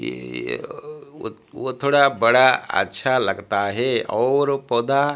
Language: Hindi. थोड़ा बड़ा अच्छा लगता हे और पौधा--